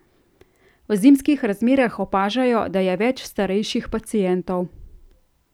V zimskih razmerah opažajo, da je več starejših pacientov.